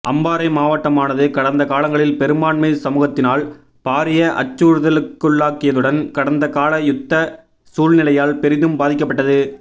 அம்பாரை மாவட்டமானது கடந்த கலங்களில் பெரும்பான்மை சமுகத்தினால் பாரிய அச்சுறுத்தலுக்குள்ளாகியதுடன் கடந்த கால யுத்த சூழ்நிலையால் பெரிதும் பாதிக்கப்பட்டது